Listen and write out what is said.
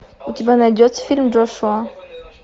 у тебя найдется фильм джошуа